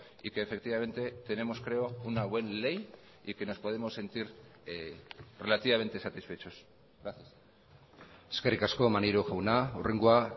y que efectivamente tenemos creo una buena ley y que nos podemos sentir relativamente satisfechos gracias eskerrik asko maneiro jauna hurrengoa